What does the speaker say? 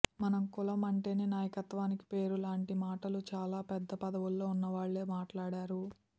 మన కులం అంటేనే నాయకత్వానికి పేరు లాంటి మాటలు చాలా పెద్ద పదవుల్లో ఉన్నవాళ్ళే మాట్లాడారు